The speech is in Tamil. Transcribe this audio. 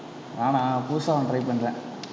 நானா புதுசா ஒண்ணு try பண்றேன்.